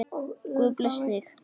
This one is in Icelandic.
Guð blessi þig!